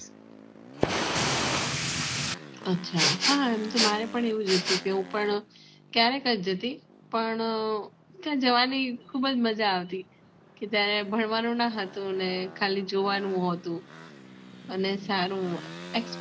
અચ્છા હા મારે પણ એવું હતું હું પણ ક્યાર ક જતી પણ ત્યાં જવાની ખુબ જ મજા આવતી કે ત્યાં ભણવાનું ન હતું ને ખાલી જોવાનું હતું અને સારું